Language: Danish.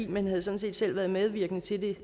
men havde sådan set selv været medvirkende til det